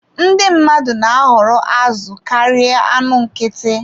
Ndị mmadụ na-ahọrọ azụ karịa anụ nkịtị.